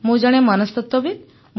ମୁଁ ଜଣେ ମନସ୍ତତ୍ୱବିତ୍